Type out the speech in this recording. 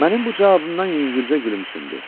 Mənim bu cavabımdan yüngülcə gülümsündü.